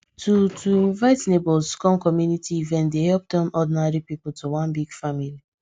to to invite neighbours come community event dey help turn ordinary people to one big family